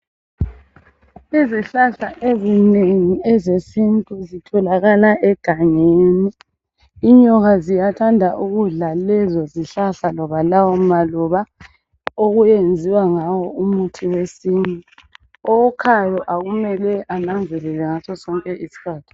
Izihlahla ezinengi ezesintu zitholakala egangeni inyoka ziyathanda ukudla lezo zihlahla loba lawo maluba okuyenziwa ngawo umuthi wesintu owukhayo kumele ananzelele ngasosonke isikhathi.